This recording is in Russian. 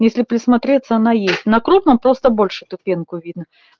если присмотреться она есть на крупном просто больше эту пенку видно